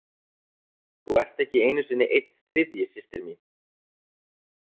þú ert ekki einu sinni einn þriðji systir mín.